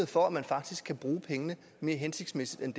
for at man faktisk kan bruge pengene mere hensigtsmæssigt end